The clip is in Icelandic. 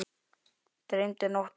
Dreymdi nótt eina mömmu.